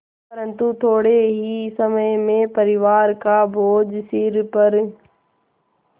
परन्तु थोडे़ ही समय में परिवार का बोझ सिर पर